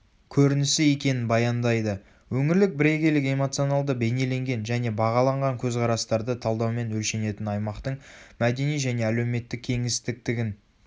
көрінісі екенін баяндайды.өңірлік бірегейлік эмоционалды бейнеленген және бағаланған көзқарастарды талдаумен өлшенетін аймақтың мәдени және әлеуметтік кеңістіктігін